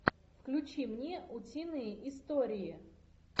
включи мне утиные истории